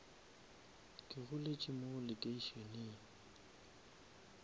ke goletše mo lekeišeneng